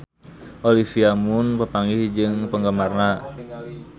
Olivia Munn papanggih jeung penggemarna